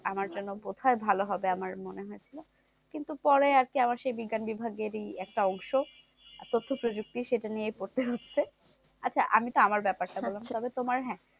আমার জন্য বোধহয় ভালো হবে, আমার মনে হয়েছে। কিন্তু পরে আছে আবার সেই বিজ্ঞান বিভাগেরই একটা অংশ তথ্য প্রযুক্তি, সেটা নিয়ে পড়তে হচ্ছে। আচ্ছা আমি তো আমার ব্যাপারটা বললাম। তবে তোমার হ্যাঁ?